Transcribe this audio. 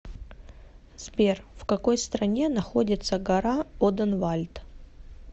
сбер в какой стране находится гора оденвальд